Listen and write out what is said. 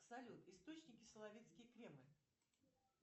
салют источники соловецкий кремль